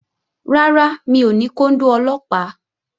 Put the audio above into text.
Rárá, mi ò ní kóndó Ọlọ́pàá